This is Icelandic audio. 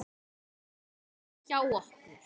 Bíður bara hjá okkur!